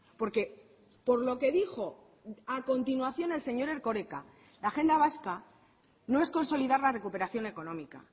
porque por lo que dijo a continuación el señor erkoreka la agenda vasca no es consolidar la recuperación económica